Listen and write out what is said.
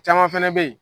Caman fɛnɛ bɛ ye